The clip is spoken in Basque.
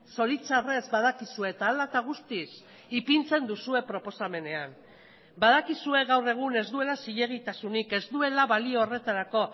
zoritxarrez badakizue eta hala eta guztiz ipintzen duzue proposamenean badakizue gaur egun ez duela zilegitasunik ez duela balio horretarako